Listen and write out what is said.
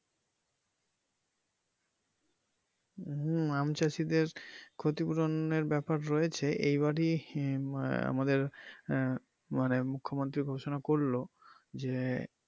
হম আম চাষীদের ক্ষতিপূরণের ব্যাপার রয়েছে এই বারেই আহ আমাদের আহ মানে মূখ্য মন্ত্রী ঘোষনা করলো যে.